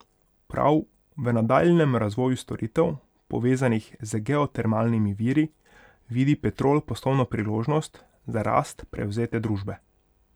Prav v nadaljnjem razvoju storitev, povezanih z geotermalnimi viri, vidi Petrol poslovno priložnost za rast prevzete družbe.